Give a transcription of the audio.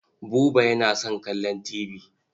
Buba yana son kallon tibi.